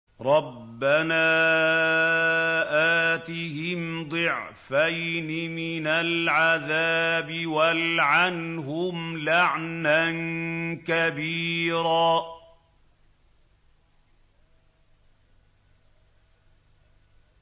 رَبَّنَا آتِهِمْ ضِعْفَيْنِ مِنَ الْعَذَابِ وَالْعَنْهُمْ لَعْنًا كَبِيرًا